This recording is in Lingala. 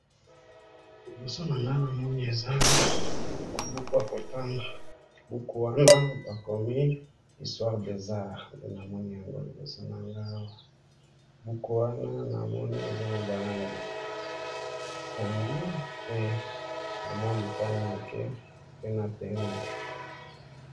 Liboso na nga namoni eza buku ya kotanga buku wana bakomi histoire des arts nde na moni yango liboso na nga awa buku wana namoni eza na balangi ya pondu pe ya mwa mutani moke pe na pembe